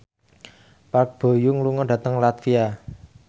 Park Bo Yung lunga dhateng latvia